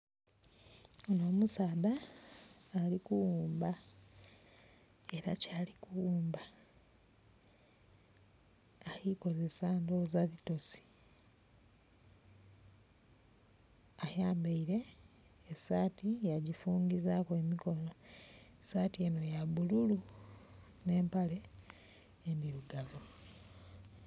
Omusaadha alikughumba era kyali ku ghumba ali kozesa ndoghoza bitosi. Ayambeire esati ya gi fungizaku emikono, sati eno ya bululu ne mpale ndhirugavu.